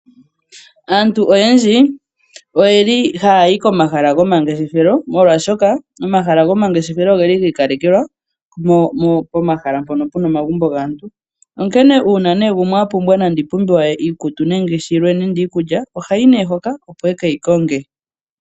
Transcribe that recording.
Aantu oyendji oha yayi komahala go mangeshefelo opo ye kiilandele iinima yawo ko mbiliha. Oshoka ko mahala go mangeshefelo ohakukala iinima yina ombiliha.